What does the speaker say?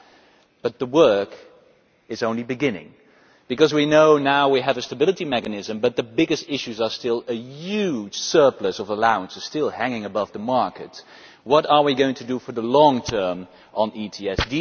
However, the work is only beginning, because we know now that we have a stability mechanism, but the biggest issues are still the huge surplus of allowances hanging above the market and what we are going to do in the long term on ETS.